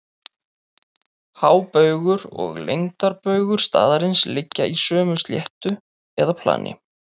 Hábaugur og lengdarbaugur staðarins liggja í sömu sléttu eða plani.